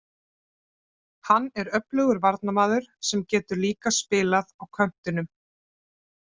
Hann er öflugur varnarmaður sem getur líka spilað á köntunum.